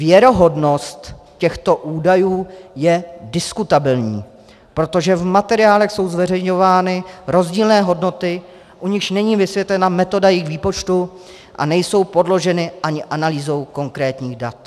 Věrohodnost těchto údajů je diskutabilní, protože v materiálech jsou zveřejňovány rozdílné hodnoty, u nichž není vysvětlena metoda jejich výpočtu a nejsou podloženy ani analýzou konkrétních dat.